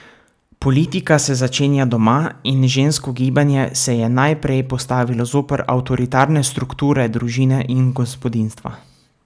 Politika se začenja doma in žensko gibanje se je najprej postavilo zoper avtoritarne strukture družine in gospodinjstva.